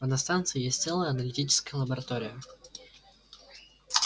а на станции есть целая аналитическая лаборатория